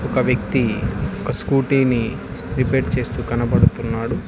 ఒక వ్యక్తి స్కూటీని రిపేర్ చేస్తూ కనబడుతున్నాడు.